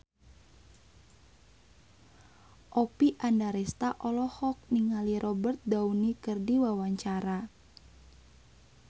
Oppie Andaresta olohok ningali Robert Downey keur diwawancara